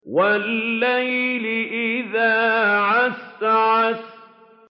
وَاللَّيْلِ إِذَا عَسْعَسَ